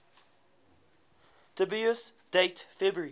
dubious date february